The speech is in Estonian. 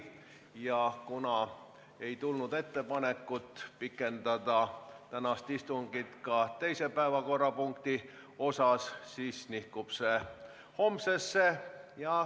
Ja kuna ei tulnud ettepanekut pikendada tänast istungit ka teise päevakorrapunkti osas, siis nihkub see homsesse.